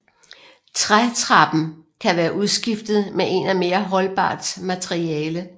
Trætrappen kan være udskiftet med en af mere holdbart materiale